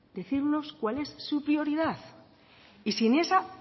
decirnos cuál es su prioridad y si en esa